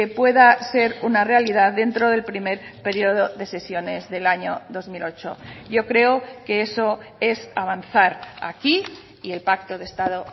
pueda ser una realidad dentro del primer periodo de sesiones del año dos mil ocho yo creo que eso es avanzar aquí y el pacto de estado